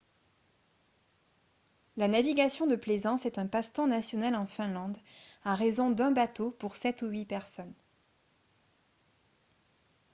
la navigation de plaisance est un passe-temps national en finlande à raison d'un bateau pour sept ou huit personnes